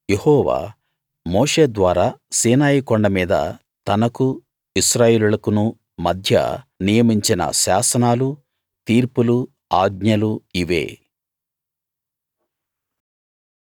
యెహోవా మోషే ద్వారా సీనాయి కొండ మీద తనకు ఇశ్రాయేలీయులకును మధ్య నియమించిన శాసనాలు తీర్పులు ఆజ్ఞలు ఇవే